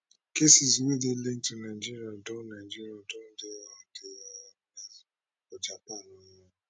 cases wey dey linked to nigeria don nigeria don for japan um